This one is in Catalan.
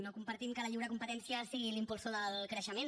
no compartim que la lliure competència sigui l’impulsor del creixement